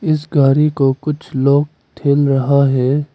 इस गाड़ी को कुछ लोग ठेल रहा है।